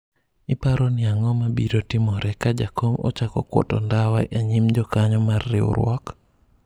iparo ni ang'o mabiro timore ka jakom ochako kwoto ndawa e nyim jokanyo mar riwruok ?